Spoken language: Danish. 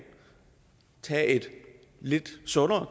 tage et lidt sundere